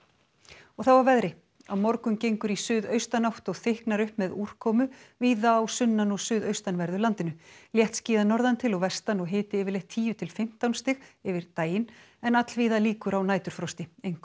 og þá að veðri á morgun gengur í suðaustanátt og þykknar upp með úrkomu víða á sunnan og suðaustanverðu landinu léttskýjað norðan til og vestan og hiti yfirleitt tíu til fimmtán stig yfir daginn en allvíða líkur á næturfrosti einkum